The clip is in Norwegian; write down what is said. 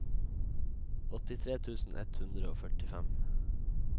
åttitre tusen ett hundre og førtifem